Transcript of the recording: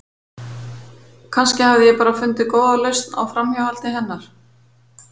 Kannski hafði ég bara fundið góða lausn á framhjáhaldi hennar.